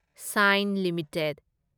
saint limited